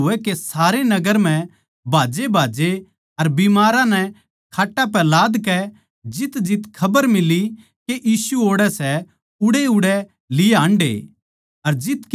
लोवैधोवै कै सारे नगर म्ह भाज्जेभाज्जे अर बीमारां नै खाट्टां पै लादकै जितजित खबर मिली के यीशु ओड़ै सै उड़ैउड़ै लिए हान्डे